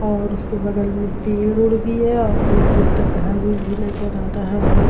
और उसके बगल में पेड़ ओड़ भी है और दूर-दूर तक घर ओर भी नजर आ रहा है।